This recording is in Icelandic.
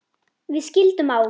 Við skildum á